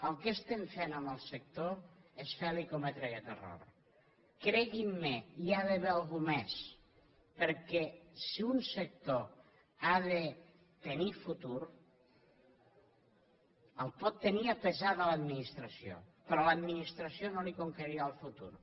el que estem fent en el sector és fer li cometre aquest error creguin me hi ha d’haver algú més perquè si un sector ha de tenir futur el pot tenir a pesar a l’administració però l’administració no li conquerirà el futur